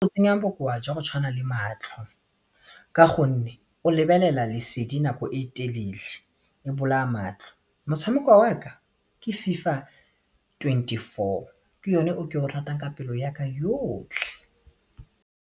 Bo tsenya bokowa jwa go tshwana le matlho ka gonne o lebelela lesedi nako e telele e bolaya matlho motshameko wa ka ke FIFA twenty four ke yone o ke o ratang ka pelo ya ka yotlhe.